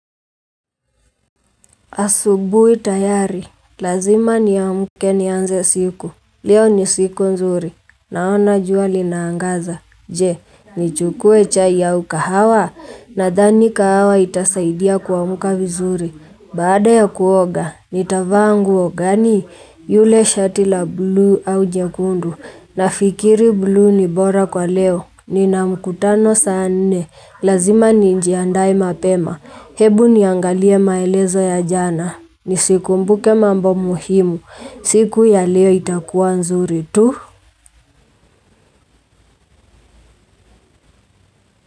Asubui tayari, lazima niamke nianze siku, leo ni siku nzuri, naona jua linaangaza, je, nichukue chai au kahawa, nadhani kahawa itasaidia kuamka vizuri, baada ya kuoga, nitavaa nguo gani, yule shati la bluu au jekundu, nafikiri bluu ni bora kwa leo, nina mkutano saa nne, lazima nijiandae mapema, Hebu niangalie maelezo ya jana. Ni sikumbuke mambo muhimu. Siku ya leo itakuwa nzuri tu.